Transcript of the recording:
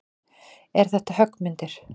Eru þetta höggmyndir?